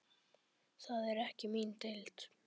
Það er ekki mín deild.